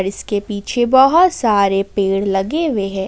इसके पीछे बहोत सारे पेड़ लगे हुए हैं।